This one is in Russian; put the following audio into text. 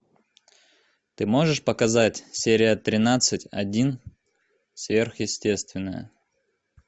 ты можешь показать серия тринадцать один сверхъестественное